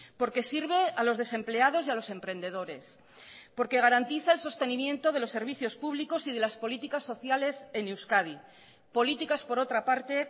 porque sirve a los desempleados y a los emprendedores porque garantiza el sostenimiento de los servicios públicos y de las políticas sociales en euskadi políticas por otra parte